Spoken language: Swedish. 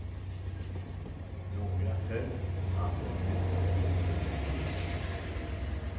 Några föll, andra knuffades omkull i trängslen.